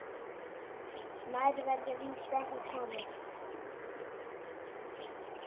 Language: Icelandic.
Nær verður víst ekki komist.